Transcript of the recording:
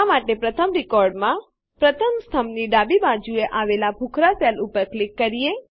આ માટે પ્રથમ રેકોર્ડમાંપ્રથમ સ્તંભની ડાબી બાજુએ આવેલ ભૂખરાં સેલ ઉપર ક્લિક કરીએ